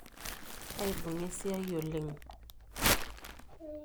Aibung'a esiai oleng.